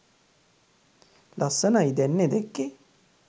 ලස්සනයි දැන්නේ දැක්කෙ